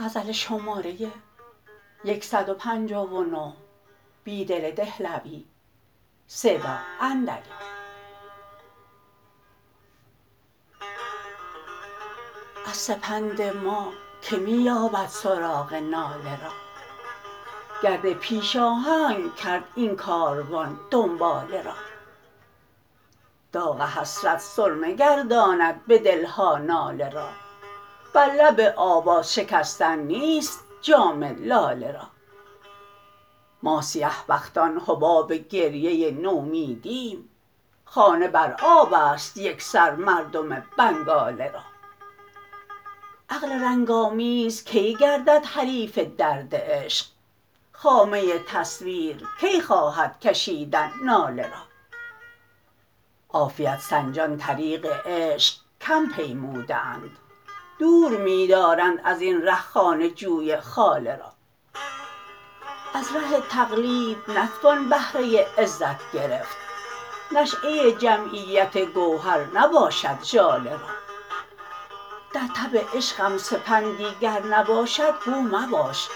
از سپند ما که می یابد سراغ ناله را گرد پیشاهنگ کرد این کاروان دنباله را داغ حسرت سرمه گرداند به دلها ناله را برلب آواز شکستن نیست جام لاله را ما سیه بختان حباب گریه نومیدی ایم خانه بر آب است یک سر مردم بنگاله را عقل رنگ آمیزکی گردد حریف درد عشق خامه تصویرکی خواهدکشیدن ناله را عافیت سنجان طریق عشق کم پیموده اند دور می دارند ازین ره خانه جوی خاله را از ره تقلید نتوان بهرة عزت گرفت نشیه جمعیت گوهر نباشد ژاله را درتب عشقم سپندی گر نباشد گو مباش